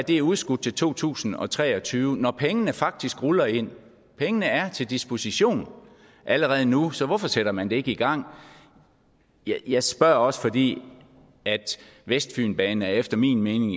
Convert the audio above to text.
det er udskudt til to tusind og tre og tyve når pengene faktisk ruller ind pengene er til disposition allerede nu så hvorfor sætter man det ikke i gang jeg spørger også fordi vestfynbanen efter min mening